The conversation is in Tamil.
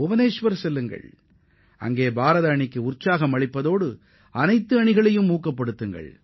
புவனேஷ்வருக்கு சென்று அங்கு விளையாட உள்ள இந்திய அணியினரையும் ஒவ்வொரு வீரரையும் உற்சாகப்படுத்துங்கள்